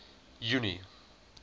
junie